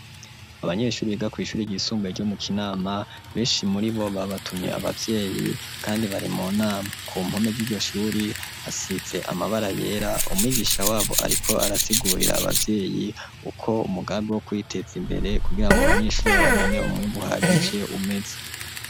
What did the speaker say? Abanyeshuri biga kw'ishuri ryisumbuye ryo mu Kinama beshi muribo babatumye abavyeyi kandi bari mu nama ku mpome ryiryo shuri hasize amabara yera umwigisha wabo ariko arasigurira abavyeyi uko umugambi wo kwiteza imbere kugirango abanyeshuri babone umwimbu uhagije umeze.